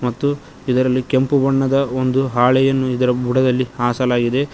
ಮತ್ತು ಇದರಲ್ಲಿ ಕೆಂಪು ಬಣ್ಣದ ಒಂದು ಹಾಳೆಯನ್ನು ಇದರ ಬುಡದಲ್ಲಿ ಹಾಸಲಾಗಿದೆ.